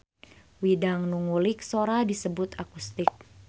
Widang nu ngulik sora disebut akustik.